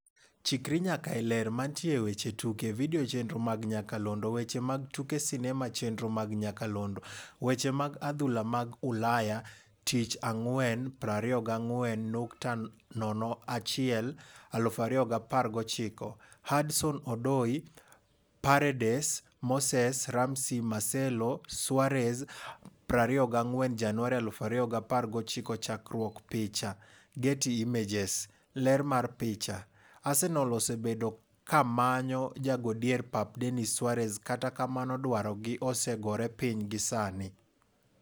Chikri nyaka e Ler. Mantie e weche tuke. Video chenro mag nyakalondo. Weche mag tuke sinema chenro mag nyakalondo Weche mag adhula mag Ulaya tich ang'wen 24.01.2019: Hudson-Odoi, Paredes, Moses, Ramsey, Marcelo, Suarez 24 Januari 2019 Chakruok picha, Getty Images. Ler mar picha, Arsenal osebedo kamanyo jago dier pap Denis Suarez kata kamano dwaro gi ose gore piny gi sani.